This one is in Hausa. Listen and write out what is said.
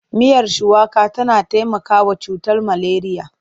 Miyar shuwaka tana taimakawa mai cutar maleriya.